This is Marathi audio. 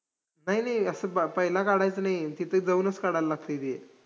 नाई नाई, असं ब~ पहिलं काढायचं नाई, तिथं जाऊनच काढाय लागतंय ते.